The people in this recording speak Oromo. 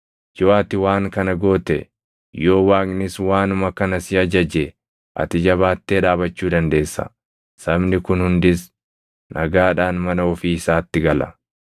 Yoo ati waan kana goote, yoo Waaqnis waanuma kana si ajaje ati jabaattee dhaabachuu dandeessa; sabni kun hundis nagaadhaan mana ofii isaatti gala.”